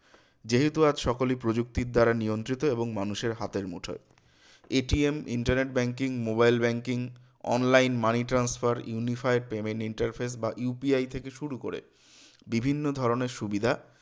যেহেতু আজ সকলই প্ৰযুক্তির দ্বারা নিয়ন্ত্রিত এবং মানুষের হাতের মুঠোয় internet banking mobile banking online money transfer unified payment interface বা UPI থেকে শুরু করে বিভিন্ন ধরনের সুবিধা